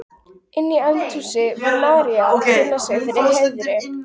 Inni í eldhúsi var María að kynna sig fyrir Herði.